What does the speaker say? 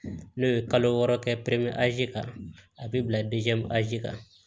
N'o ye kalo wɔɔrɔ kɛ pɛrɛn kan a bi bila kan